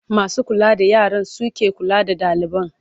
Masu kula da yaran su ke kula da ɗaliban.